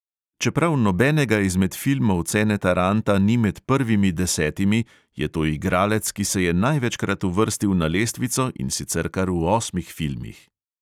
Čeprav nobenega izmed filmov ceneta ranta ni med prvimi desetimi, je to igralec, ki se je največkrat uvrstil na lestvico, in sicer kar v osmih filmih.